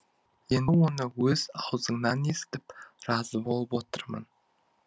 енді оны өз аузыңнан естіп разы болып отырмын